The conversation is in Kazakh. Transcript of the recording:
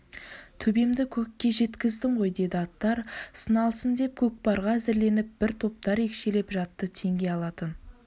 төбемді көкке жеткіздің ғой деді аттар сыналсын деп көкпарға әзірленіп бір топтар екшеліп жатты теңге алатын